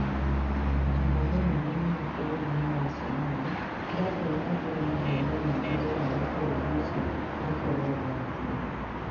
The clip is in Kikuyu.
Ng'aragu nene mũno bũrũri-inĩ wa Somalia ĩratũma andũ milioni nyingĩ thĩinĩ wa bũrũri ũcio makorũo ũgwati-inĩ.